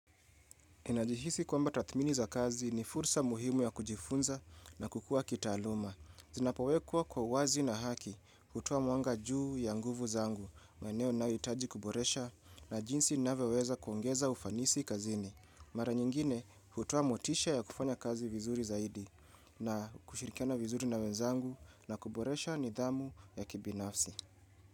Najihisi kwamba tathmini za kazi ni fursa muhimu ya kujifunza na kukua kitaaluma. Zinapowekwa kwa wazi na haki hutuwa mwanga juu ya nguvu zangu. Maeneo ninayoitaji kuboresha na jinsi nina vyoweweza kuongeza ufanisi kazini. Mara nyingine hutowa motisha ya kufanya kazi vizuri zaidi, na kushirikiana vizuri na wenzangu na kuboresha nidhamu ya kibinafsi.